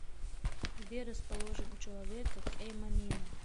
где расположен у человека кэйманина